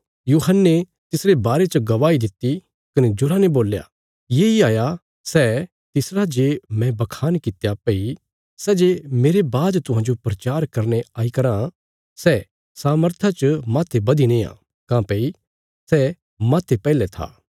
यूहन्ने तिसरे बारे च गवाही दित्ति कने जोरा ने बोल्या येई हाया सै तिसरा जे मैं बखान कित्या भई सै जे मेरे बाद तुहांजो प्रचार करने आई कराँ सै सामर्था च माहते बधी नेआ काँह्भई सै माहते पैहले था